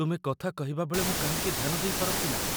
ତୁମେ କଥା କହିବାବେଳେ ମୁଁ କାହିଁକି ଧ୍ୟାନ ଦେଇପାରନ୍ତି ନାହିଁ?